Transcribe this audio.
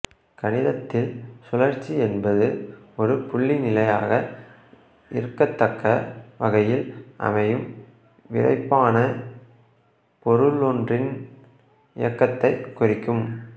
கணிதத்தில் சுழற்சி என்பது ஒரு புள்ளி நிலையாக இருக்கத்தக்க வகையில் அமையும் விறைப்பான பொருளொன்றின் இயக்கத்தைக் குறிக்கும்